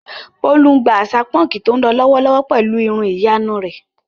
Bólú ń gba àṣà púnkì tó ń lọ lọ́wọ́lọ́wọ́ pẹ̀lú irun ìyanu rẹ̀.